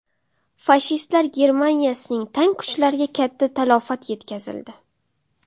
Fashistlar Germaniyasining tank kuchlariga katta talafotlar yetkazildi.